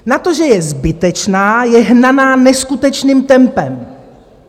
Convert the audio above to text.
Na to, že je zbytečná, je hnaná neskutečným tempem.